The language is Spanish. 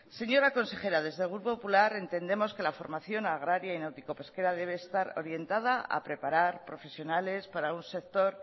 señora consejera desde el grupo popular entendemos que la formación agraria y náutico pesquera debe estar orientada a preparar profesionales para un sector